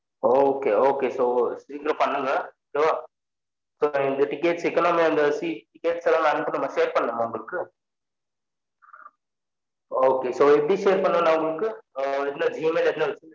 Okay okay so சிக்கிரம் பண்ணுங்க okay வ so இந்த tickets economy and seats tickets எல்லான் message பன்னனுமா உங்களுக்கு okay so எப்டி share பண்ணன்னு நான் உங்களுக்கு ஆஹ் இல்ல gmail